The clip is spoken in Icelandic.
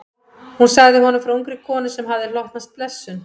Hún sagði honum frá ungri konu sem hafði hlotnast blessun.